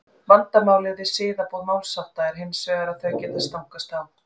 Vandamálið við siðaboð málshátta er hins vegar að þau geta stangast á.